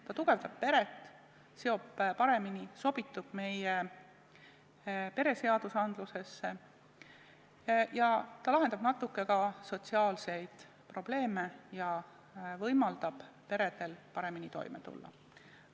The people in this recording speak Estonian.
See tugevdab peret, seob seda paremini, sobitub meie pereseadustesse, lahendab natuke ka sotsiaalseid probleeme ja võimaldab peredel paremini toime tulla.